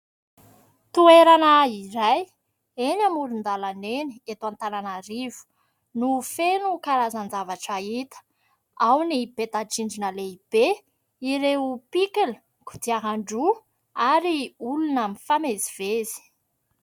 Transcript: Toerana iray izay eny amoron-dalana eny eto Antananarivo no feno karazan-javatra hita ; ao ny peta-drindrina lehibe ireo pikila, kodiaran-droa ary olona mifamezivezy.